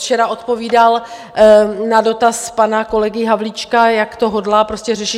Včera odpovídal na dotaz pana kolegy Havlíčka, jak to hodlá prostě řešit.